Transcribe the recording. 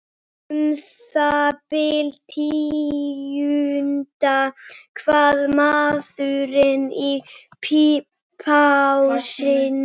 Um það bil tíundi hver maður í plássinu.